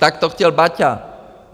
Tak to chtěl Baťa.